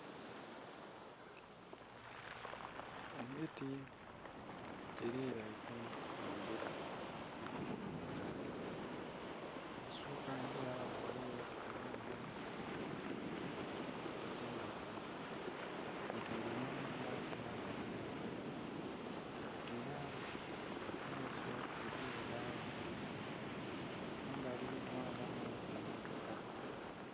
Emiti gilinhainhe engila. Ebusuuka ngila ghaligho ennhumba edh'endhaghulo kwotaile nhe nnhumba eya kalina. Ela mu maiso eliyo lawundi mu mbali mwabamu emmotoka.